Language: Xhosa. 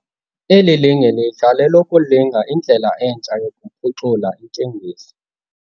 Eli linge lelokulinga indlela entsha yokuphucula inteniso.